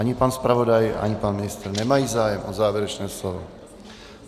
Ani pan zpravodaj, ani pan ministr nemají zájem o závěrečné slovo.